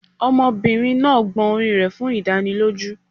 Ọmọbìnrin náà gbọn orí rẹ̀ fún ìdánilójú